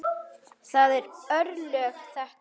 Það eru örlög þetta!